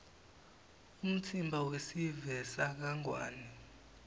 umtsimba wesive sakangwane